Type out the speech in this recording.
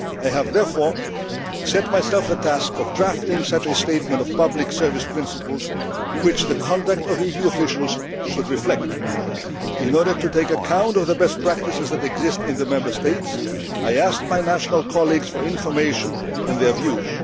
I have therefore set myself the task of drafting such a statement of public service principles which the conduct of EU officials should reflect. In order to take account of the best practices which exist in the Member States, I asked my national colleagues for information and their